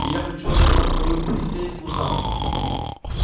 и я хочу отдать вам мою присей в служанки